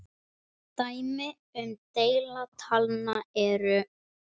Dæmi um deila talna eru